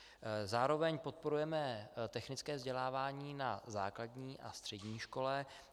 Zároveň podporujeme technické vzdělávání na základní a střední škole.